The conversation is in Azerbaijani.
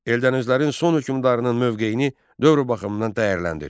Eldənizlərin son hökmdarının mövqeyini dövr baxımından dəyərləndir.